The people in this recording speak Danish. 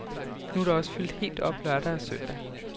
Nu er der også fyldt helt op lørdag og søndag.